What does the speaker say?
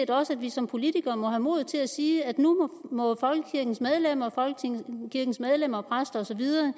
også at vi som politikere må have mod til at sige at nu må folkekirkens medlemmer og præster og så videre